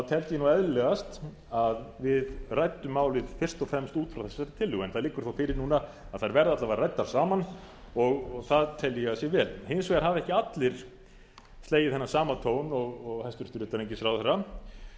teldi ég eðlilegast að við ræddum málið fyrst og fremst út frá þessari tillögu en það liggur þó fyrir núna að þær verða alla vega ræddar saman og það tel ég að sé vel hins vegar hafa ekki allir slegið þennan sama tón og hæstvirtur utanríkisráðherra